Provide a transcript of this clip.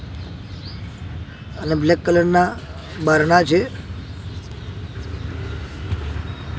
અને black colour ના બારણાં છે.